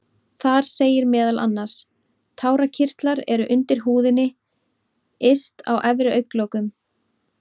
Þar segir meðal annars: Tárakirtlar eru undir húðinni yst á efri augnlokum.